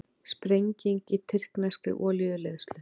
Sprenging í tyrkneskri olíuleiðslu